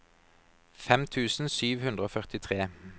fem tusen sju hundre og førtitre